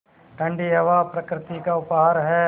ठण्डी हवा प्रकृति का उपहार है